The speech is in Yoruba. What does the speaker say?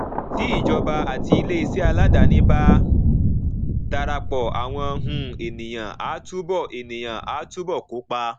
tí ìjọba àti iléeṣẹ aládàáni bá darapọ àwọn um ènìyàn á túbọ ènìyàn á túbọ kópa